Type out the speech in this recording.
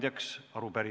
Head kolleegid!